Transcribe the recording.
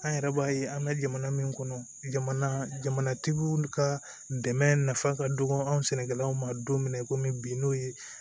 An yɛrɛ b'a ye an ka jamana min kɔnɔ jamanatigiw ka dɛmɛ nafa ka dɔgɔ an sɛnɛkɛlaw ma don min na komi bi n'o ye